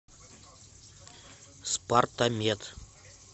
спартамед